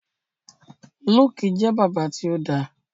Luke jẹ bàbá ti o dá.